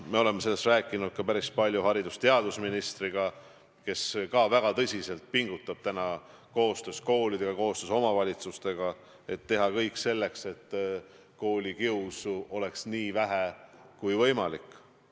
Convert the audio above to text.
Me oleme sellest rääkinud päris palju ka haridus- ja teadusministriga, kes väga tõsiselt pingutab koostöös koolidega, koostöös omavalitsustega, et teha kõik selleks, et koolikiusu oleks nii vähe kui võimalik.